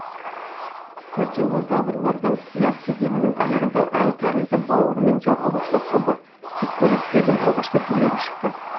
котилозаврлардан триас кезеңінің аяғында аң тәрізді бауырымен жорғалаушылар тобы сүтқоректілердің алғашқы түрлері шықты